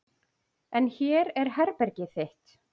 En hér er herbergið þitt.